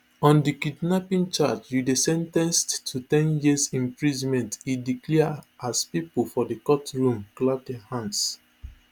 on di kidnapping charge you dey sen ten ced to ten years imprisonment e declare as pipo for di courtroom clap dia hands